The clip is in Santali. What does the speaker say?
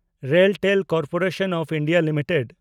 RailTel corporation of India limited